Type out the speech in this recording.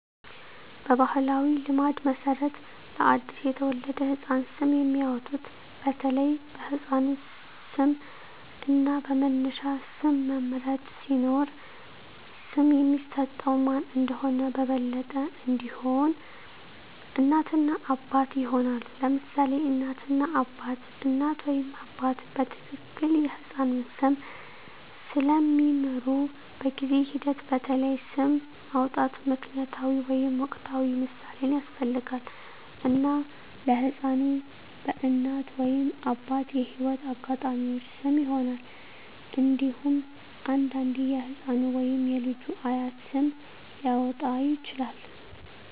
በባሕላዊ ልማድ መሠረት ለአዲስ የተወለደ ህፃን ስም የሚያወጡት በተለይ በሕፃኑ ስም እና በመነሻ ስም መምረጥ ሲኖር፣ ስም የሚሰጠው ማን እንደሆነ በበለጠ እንዲሆን፣ እናት እና አባት ይሆናሉ: ለምሳሌ እናት እና አባት: እናት ወይም አባት በትክክል የሕፃኑን ስም ስለሚምሩ፣ በጊዜ ሂደት በተለይ ስም ማውጣት ምክንያታዊ ወይም ወቅታዊ ምሳሌን ያስፈልጋል፣ እና ለሕፃኑ በእናት ወይም አባት የህይወት አጋጣሚዎች ስም ይሆናል። እንዴሁም አንዳንዴ የህፃኑ ወይም የልጁ አያት ስም ሊያወጣ ይችላል።